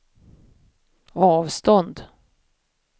avstånd